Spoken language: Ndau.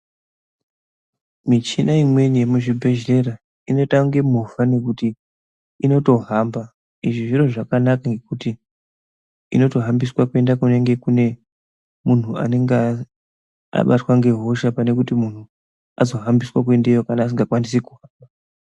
Michina imweni yemuzvibhedhlera inoita kunge movha ngekuti initohamba izvi zviro zvakanaka nokuti inotohambiswe kuenda kumunhu anenge aine hosaha wacho pane kuti munhu azohambiswa kuendeyo kana asingakwanisi ku ....